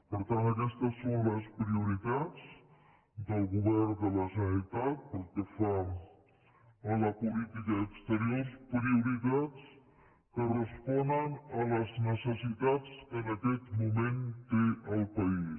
per tant aquestes són les prioritats del govern de la generalitat pel que fa a la política exterior prioritats que responen a les necessitats que en aquest moment té el país